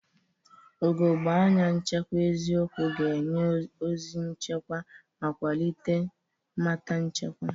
Ugogbe anya nchekwa eziokwu ga-enye ozi nchekwa ma kwalite mmata nchekwa.